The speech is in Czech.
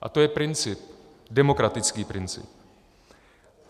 A to je princip, demokratický princip.